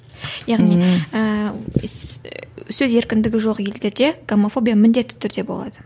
яғни ііі сөз еркіндігі жоқ елдерде гомофобия міндетті түрде болады